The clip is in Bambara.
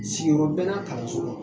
bɛ na